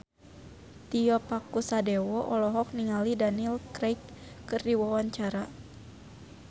Tio Pakusadewo olohok ningali Daniel Craig keur diwawancara